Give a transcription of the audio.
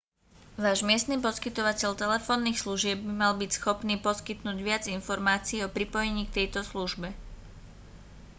váš miestny poskytovateľ telefónnych služieb by mal byť schopný poskytnúť viac informácií o pripojení k tejto službe